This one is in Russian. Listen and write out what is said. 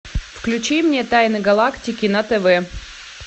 включи мне тайны галактики на тв